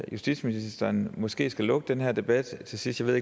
justitsministeren måske skal lukke den her debat til sidst jeg